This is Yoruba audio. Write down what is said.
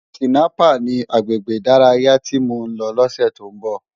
Tinàpá ni àgbégbé idàráyá ti mó n lò lòsè tó n bò